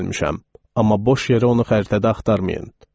Amma boş yerə onu xəritədə axtarmayın.